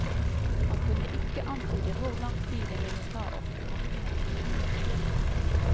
Han kunne ikke antyde hvor lang tid det ville ta å få partene på glid.